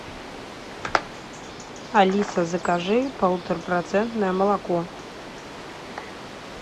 алиса закажи полутора процентное молоко